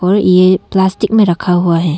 और ए प्लास्टिक में रखा हुआ है।